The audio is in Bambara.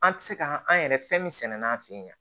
An tɛ se ka an yɛrɛ fɛn min sɛnɛ n'an fɛ yen